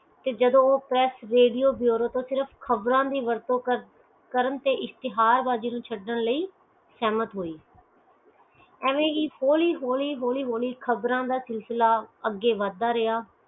ਰੋ ਪਾਸ ਰੇਡੀਓ ਦੀਆ ਖ਼ਬਰ ਦੀਆ ਵਰਤੋਂ ਕਰਨ ਤੇ ਇਸਤਿਹਾ ਲਈ ਸਹਿਮਤ ਹੋਇ ਐਵੇ ਹੀ ਹੋਲੀ ਹੋਲੀ ਖ਼ਬਰ ਦਾ ਸਿਲਸਿਲਾ ਅਗੇ ਵਾਦ ਦਾ ਰੇਯਾ